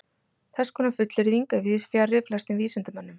Þess konar fullyrðing er víðs fjarri flestum vísindamönnum.